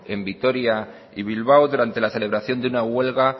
en vitoria y bilbao durante la celebración de una huelga